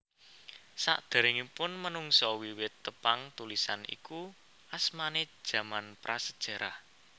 Sakderengipun menungsa wiwit tepang tulisan iku asmane jaman Prasejarah